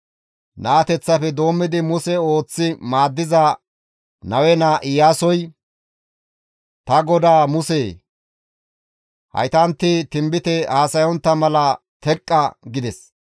Naateththafe doommidi Muse ooththi maaddiza Nawe naa Iyaasoy, «Ta godaa Musee! Haytanti tinbite haasayontta mala teqqa!» gides.